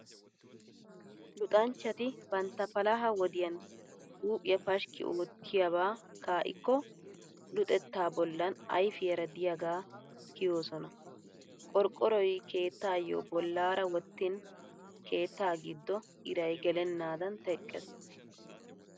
Luxanchchati bantta palaha wodiyan huuphphiyaa pashkki oottiyaaba kaa'ikko luxettaa bollan ayfiyaara diyaagaa kiyoosona. Qorqqoroy keettaayo bollaara wottin keettaa giddo iray gelennaadan teqqees.